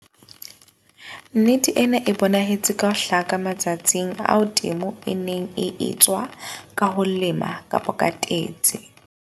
Nnete ena e bonahetse ka ho hlaka matsatsing ao temo e neng e etswa ka ho lema kapa ka tetse.